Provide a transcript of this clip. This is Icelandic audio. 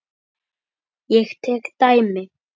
Ég tek dæmi.